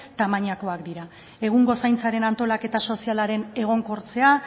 tamainakoak dira egungo zaintzaren antolaketa sozialaren egonkortzea